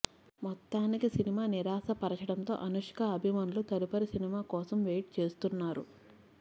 మొత్తానికి సినిమా నిరాశపరచడంతో అనుష్క అభిమానులు తదుపరి సినిమా కోసం వెయిట్ చేస్తున్నారు